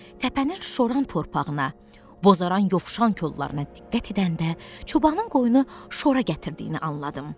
Təpənin şoran torpağına, bozaran yovşan kollarına diqqət edəndə çobanın qoyunu şora gətirdiyini anladım.